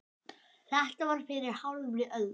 Þetta var fyrir hálfri öld.